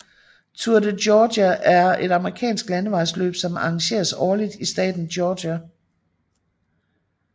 Tour de Georgia er et amerikansk landevejsløb som arrangeres årligt i staten Georgia